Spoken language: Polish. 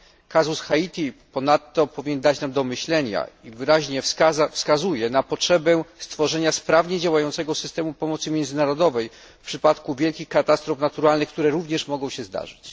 Kazus Haiti powinien ponadto dać nam do myślenia i wyraźnie wskazuje na potrzebę stworzenia sprawnie działającego systemu pomocy międzynarodowej w przypadku wielkich katastrof naturalnych, które również mogą się zdarzyć.